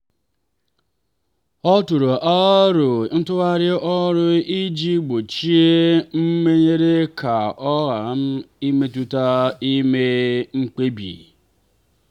ọ tụrụ aro ntụgharị ọrụ iji gbochie mmenyere ka ọ ghara imetụta ime mkpebi.